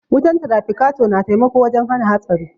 Wutan trafikator na taimako wajen hana hatsari.